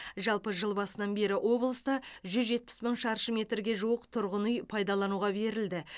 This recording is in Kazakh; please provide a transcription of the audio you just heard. жалпы жыл басынан бері облыста жүз жетпіс мың шаршы метрге жуық тұрғын үй пайдалануға берілді